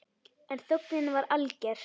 En þögnin var alger.